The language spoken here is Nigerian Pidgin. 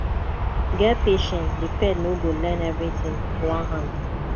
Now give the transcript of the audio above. get patience di pet no go learn everything one hand